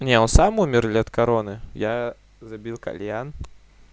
не он сам умер или от короны я забил кальян